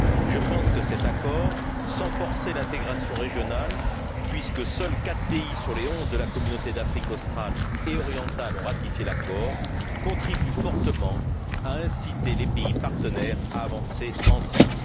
Je pense que cet accord, sans forcer l'intégration régionale, puisque quatre pays sur les onze de la Communauté d'Afrique australe et orientale l'ont ratifié, contribue fortement à inciter les pays partenaires à avancer ensemble.